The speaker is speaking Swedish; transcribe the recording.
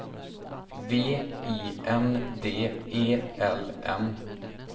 V I N D E L N